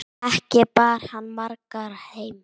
Ekki bar hann margar heim.